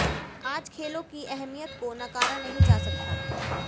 आज खेलों की अहमियत को नकारा नहीं जा सकता